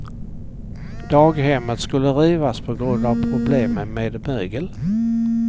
Daghemmet skulle rivas på grund av problem med mögel.